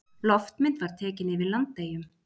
Loftmynd tekin yfir Landeyjum.